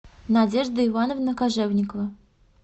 надежда ивановна кожевникова